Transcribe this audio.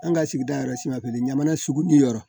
An ka sigida yɛrɛ siman jamana sugu ni yɔrɔ